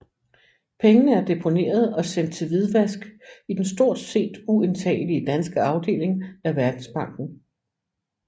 Pengene er deponeret og sendt til hvidvask i den stort set uindtagelige danske afdeling af Verdensbanken